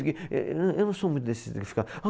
Eh, Eu eu não sou muito desses de ficar ah